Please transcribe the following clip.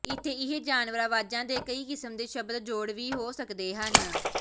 ਇੱਥੇ ਇਹ ਜਾਨਵਰ ਆਵਾਜ਼ਾਂ ਦੇ ਕਈ ਕਿਸਮ ਦੇ ਸ਼ਬਦ ਜੋੜ ਵੀ ਹੋ ਸਕਦੇ ਹਨ